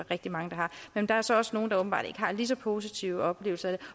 rigtig mange der har men der er så også nogle der åbenbart ikke har en lige så positiv oplevelse